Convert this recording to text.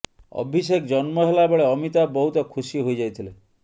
ଅଭିଷେକ ଜନ୍ମ ହେଲା ବେଳେ ଅମିତାଭ ବହୁତ ଖୁସି ହୋଇଯାଇଥିଲେ